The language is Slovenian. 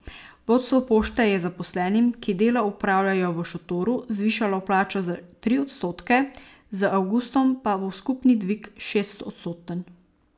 Vodstvo pošte je zaposlenim, ki delo opravljajo v šotoru, zvišalo plačo za tri odstotke, z avgustom pa bo skupni dvig šestodstoten.